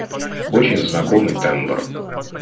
очень знакомый тембр